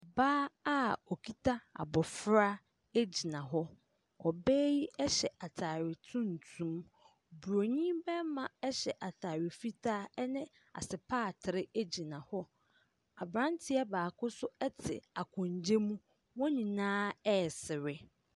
Baa a ɔkita abɔfra gyina hɔ. Ɔbaa yi hyɛ atare tuntum. Buroni barima hyɛ atare fitaa ne asopaatere gyina hɔ. Aberanteɛ baako nso te akonnwa mu. Wɔn nyinaa resere.